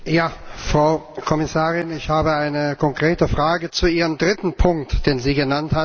Frau Kommissarin! Ich habe eine konkrete Frage zu Ihrem dritten Punkt, den Sie genannt haben.